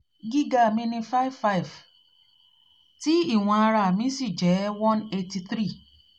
giga mi ni five five ti ti ìwọ̀n ara mi sì jẹ́ one eighty three